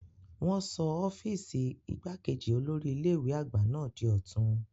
Wọn sọ ọ́fíìsì igbákejì olórí ilé ìwé àgbà náà di ọ̀tun.